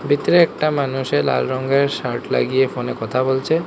ভিতরে একটা মানুষে লাল রঙের শার্ট লাগিয়ে ফোন এ কথা বলছে।